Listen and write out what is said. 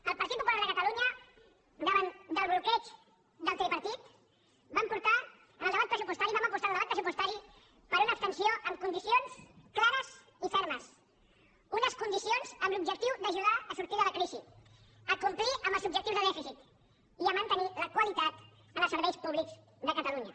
el partit popular de catalunya davant del bloqueig del tripartit vam apostar en el debat pressupostari per una abstenció amb condicions clares i fermes unes condicions amb l’objectiu d’ajudar a sortir de la crisi a complir amb els objectius de dèficit i a mantenir la qualitat en els serveis públics de catalunya